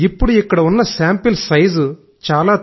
ఇప్పుడు ఇక్కడ ఉన్న శాంపిల్ సైజ్ చాలా